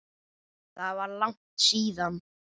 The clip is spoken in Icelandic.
Það var langt síðan.